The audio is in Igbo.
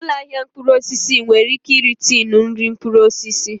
Ụlọ ahịa mkpụrụ osisi nwere ike ire tinu nri mkpụrụ osisi